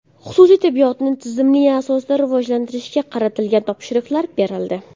Xususiy tibbiyotni tizimli asosda rivojlantirishga qaratilgan topshiriqlar berildi.